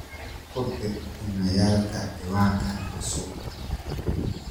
ku dir iimaylka ciwaankaan cusub